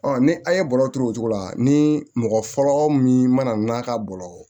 Ɔ ni a ye bɔlɔ turu o cogo la ni mɔgɔ fɔlɔ min mana n'a ka bɔlɔlɔw